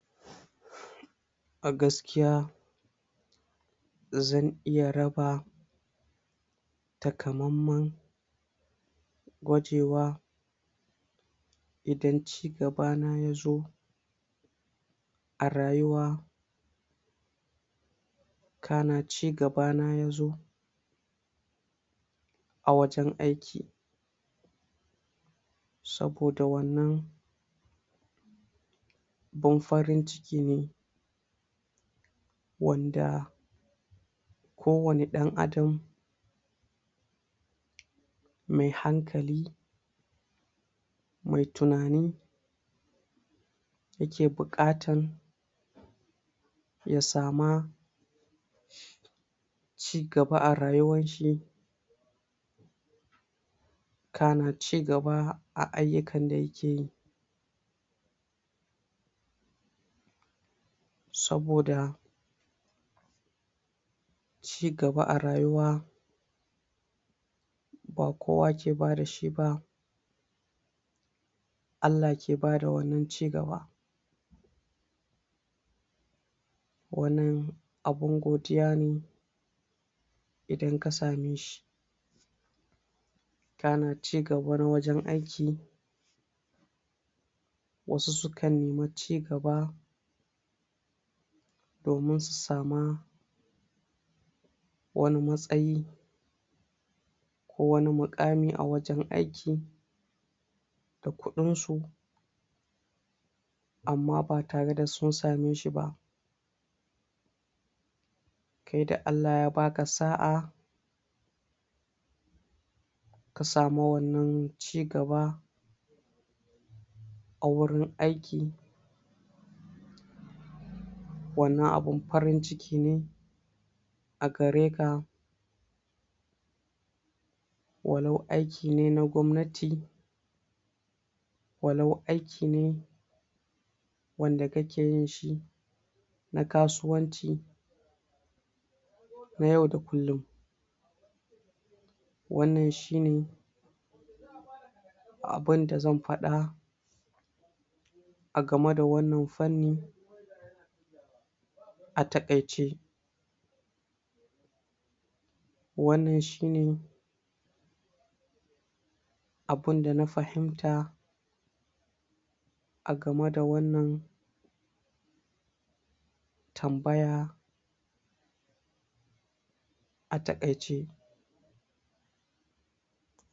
A gaskiya zan iya raba takamaiman gwajewa idan cibagana ya zo a rayuwa kana cigabana ya zo a wajen aiki, saboda wanann abun farin ciki ne wanda kowane ɗan adam mai hankali mai tunani ya ke buƙatar ya sama cigaba a rayuwarshi, kana cigaba a ayyukan da ya ke yi, saboda cigaba a rayuwa ba kowa ke bada shi ba Allah ke bada wannan cigaba, wannan abun godiya ne idan ka same shi, kana cigaba na wajen aiki wasu sukan nemi cigaba domin su samu wani matsayi ko wani muƙami a wajen aiki da kuɗinsu amma ba tare da sun same shi ba, kai da Allah ya baka sa'a ka samu wannan cigaba a wurin aiki wannan abun farin ciki ne a gareka, walau aiki ne na gwamnati, walau aiki ne wanda ka ke yin shi na kasuwanci na yau da kullum, wannan shine abinda zan faɗa a game da wannan fanni a taƙaice, wannan shine abinda na fahimta a game da wannan tambaya a taƙaice.